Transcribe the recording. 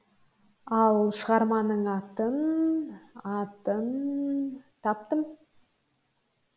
ал шығармамның атын атын таптым